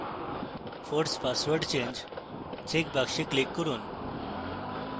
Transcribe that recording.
force password change checkbox click করুন